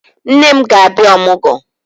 Nne m ga-abia Ọmụgọ